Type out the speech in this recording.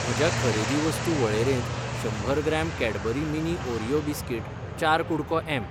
म्हज्या खरेदी वस्तू वळेरेंत शंबर gram Cadbury mini Oreo biscuit, चार कु़डको एम.